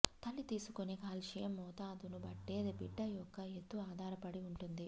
తల్లి తీసుకొనే క్యాల్షియం మోతాదును బట్టే బిడ్డ యొక్క ఎత్తు ఆధారపడి ఉంటుంది